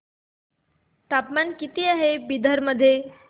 तापमान किती आहे बिदर मध्ये